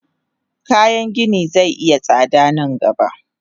Kayan gini ze iya tsada nan gaba.